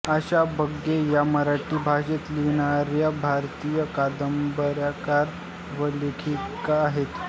आशा बगे या मराठी भाषेत लिहिणाऱ्या भारतीय कादंबरीकार व लेखिका आहेत